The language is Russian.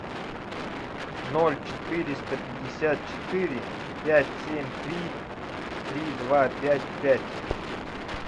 ноль четыреста пятьдесят четыре пять семь три три два пять пять